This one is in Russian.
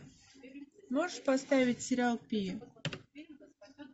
можешь поставить сериал пи